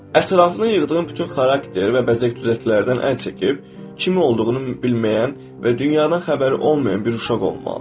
Ətrafına yığdığın bütün xarakter və bəzək-düzəklərdən əl çəkib, kim olduğunu bilməyən və dünyadan xəbəri olmayan bir uşaq olmalıdır.